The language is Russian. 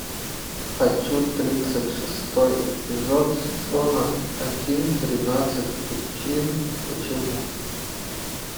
хочу тридцать шестой эпизод сезона один тринадцать причин почему